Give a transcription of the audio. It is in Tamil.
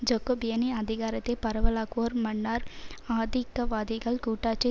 ஜக்கோபியனி அதிகாரத்தை பரவலாக்குவோர் மன்னார் ஆதிக்கவாதிகள் கூட்டாட்சி